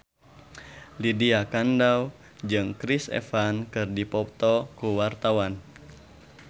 Lydia Kandou jeung Chris Evans keur dipoto ku wartawan